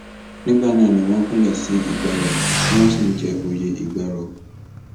nígbà náà ni wọn gúnlẹ sí ìgbárò tí wọn sì ń jẹ òye ìgbárò